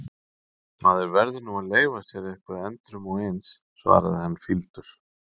Maður verður nú að leyfa sér eitthvað endrum og eins, svarar hann fýldur.